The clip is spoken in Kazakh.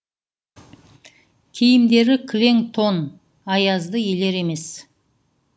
киімдері кілең тон аязды елер емес